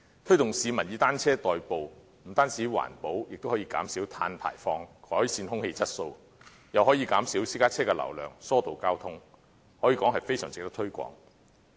推動市民以單車代步，不但環保，亦可減少碳排放，改善空氣質素，又可以減少私家車的流量，疏導交通，可以說是非常值得推廣。